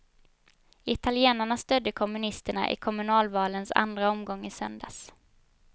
Italienarna stödde kommunisterna i kommunalvalens andra omgång i söndags.